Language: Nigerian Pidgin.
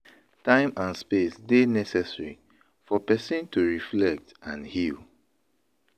Time and space dey necessary for pesin to reflect and heal.